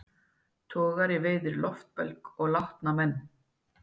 Togari veiðir loftbelg og látna menn